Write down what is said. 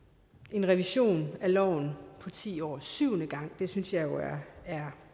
en revision af loven på ti år syvende gang det synes jeg jo er